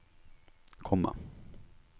komma